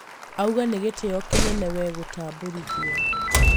auga nĩ gĩtĩo kĩnene we gũtambũrithio